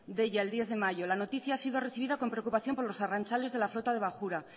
deia diez de mayo la noticia ha sido recibida con preocupación para los arrantzales de la flota de bajura